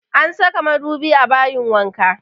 An saka madubi a bayin wanka